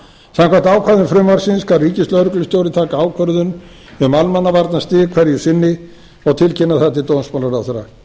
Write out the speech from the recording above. samkvæmt ákvæðum frumvarpsins skal ríkislögreglustjóri taka ákvörðun um almannavarnastig hverju sinni og tilkynna það til dómsmálaráðherra